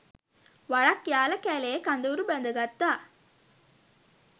වරක් යාල කැලයේ කඳවුරු බැද ගත්තා.